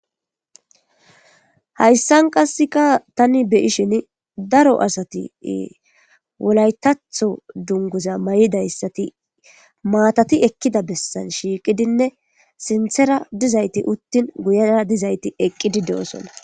Haysan qaseka tan be'ishin daro asati wolaytatho duguza mayididaysat matati ekida besan shiqidinne sinthera dizayti utin guyera dizayti eqidi de'osona